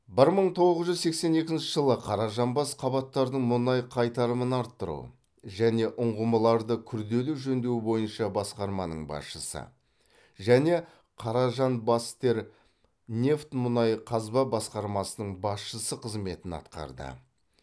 бір мың тоғыз жүз сексен екінші жылы қаражанбас қабаттардың мұнай қайтарымын арттыру және ұңғымаларды күрделі жөндеу бойынша басқарманың басшысы және каражанбастермнефть мұнай қазба басқармасының басшысы қызметін атқарды